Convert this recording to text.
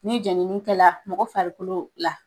Ni jɛnini kɛ la mɔgɔ farikolo la